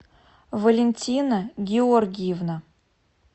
валентина георгиевна